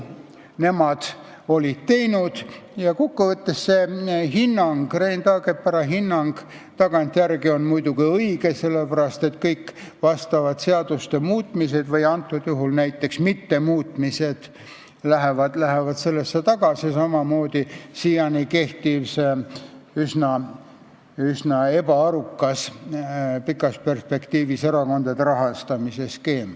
See Rein Taagepera hinnang on tagantjärele vaadates muidugi õige, sest kõik seaduste muutmised või mittemuutmised lähevad selle juurde tagasi, samamoodi siiani kehtiv, pikas perspektiivis üsna ebaarukas erakondade rahastamise skeem.